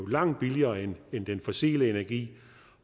langt billigere end den fossile energi